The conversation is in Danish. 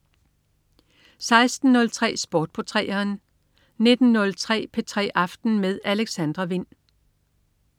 16.03 Sport på 3'eren 19.03 P3 aften med Alexandra Wind